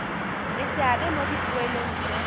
le seabe mo dipoelong tse